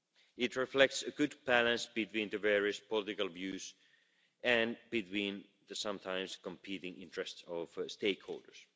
It reflects a good balance between the various political views and between the sometimes competing interests of stakeholders.